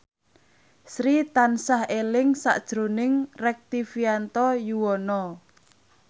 Sri tansah eling sakjroning Rektivianto Yoewono